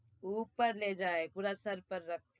ઉપર લઇ જા પુરા સર પર રખ